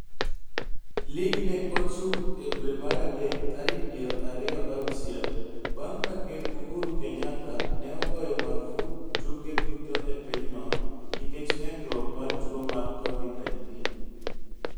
Lig ne ochung e dwe mar adek tarik piero ariyo gi auchiel bang' ka Ker Uhuru Kenyatta ne ogoyo marfuk tuke duto e pinyno, nikech medruok mar tuo mar Covid-19.